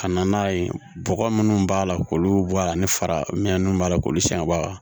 Ka na n'a ye bɔgɔ munnu b'a la k'olu bɔ a la ani fara min b'a la k'olu siɲɛbaa